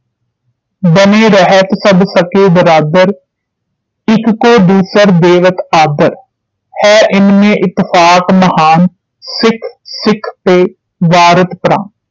ਬਨੇ ਰਹਿਤ ਸਭ ਸਕੇ ਬਰਾਦਰ ਇਕ ਕੋ ਦੂਸਰ ਦੇਵਤ ਆਦਰ ਹੈ ਇਨ ਮੇ ਇਤਫ਼ਾਕ ਮਹਾਨ ਸਿੱਖ ਸਿੱਖ ਪੈ ਵਾਰਤ ਪ੍ਰਾਨ